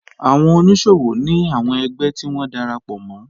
Àwọn oníṣòwò ní àwọn ẹgbẹ́ tí wọ́n darapọ̀ mọ́